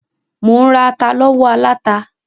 Mò ń ra ata lọ́wọ́ aláta.